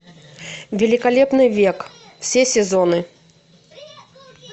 великолепный век все сезоны